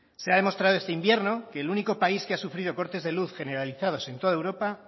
se ha demostrado este invierno que el único país que ha sufrido cortes de luz generalizados en toda europa